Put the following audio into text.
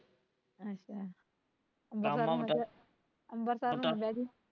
ਅੱਛਾ ਅਂਬਰਸਰ ਨੂੰ ਨਾ ਲੇਜੀ